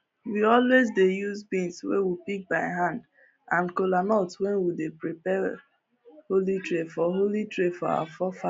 we always dey use beans wey we pick by hand and kolanut when we dey prepare holy tray for holy tray for our forefathers